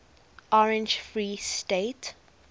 orange free state